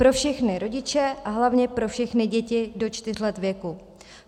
Pro všechny rodiče a hlavně pro všechny děti do čtyř let věku.